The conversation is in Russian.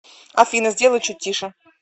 афина сделай чуть тише